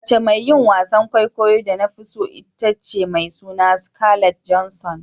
Mace mai yin wasan kwaikwayo da na fi so ita ce mai suna "Scarlet Johansson."